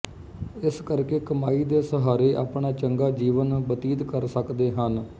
ਇਸ ਕਰ ਕੇ ਕਮਾਈ ਦੇ ਸਹਾਰੇ ਆਪਣਾ ਚੰਗਾ ਜੀਵਨ ਬਤੀਤ ਕਰ ਸਕਦੇ ਹਨ